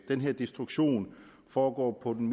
den her destruktion foregår på den